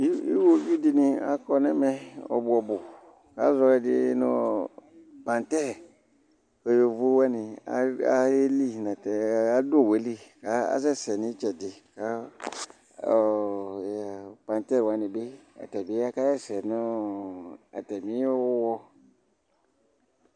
iwoviu di ni akɔ n'ɛmɛ ɔbu ɔbu k'azɔ ɛdi no pantɛ kò yovo wani ayeli adu owu yɛ li k'asɛ sɛ n'itsɛdi kò ɔ pantɛ wani bi atabi aka sɛ sɛ no atami wuwɔ